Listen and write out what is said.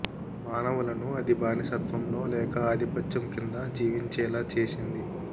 మానవులను అది బాని సత్వంలో లేక ఆధిపత్యం కింద జీవించేలా చేసింది